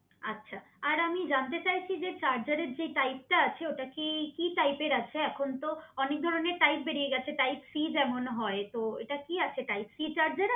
আচ্ছা আর আমি জানতে চাইছি যে চার্জারের যে টাইপ টা আছে ওটা কি কি টাইপের আছে এখন তো অনেক ধরনের টাইপ বেরিয়ে গেছে টাইপ সি যেমন হয়ে তো এটা কি আছে টাইপ সি চার্জার আছে